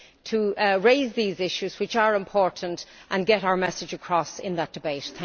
to raise these issues, which are important, and get our message across in that debate.